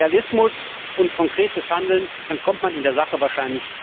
Also Realismus und konkretes Handeln, dann kommt man in der Sache wahrscheinlich weiter.